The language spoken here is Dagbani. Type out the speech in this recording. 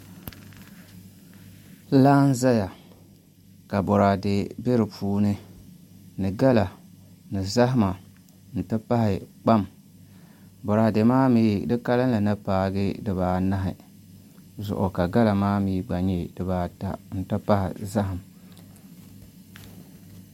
Laa n ʒɛya ka boraadɛ bɛ di puuni ni gala ni zahama n ti pahi kpam boraadɛ maa mii di kalinli ni paagi dibaanahi zuɣu ka gala maa mii gba nyɛ dibaata n ti pahi zaham